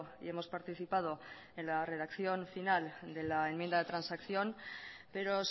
y hemos participado en la redacción final de la enmienda de transacción pero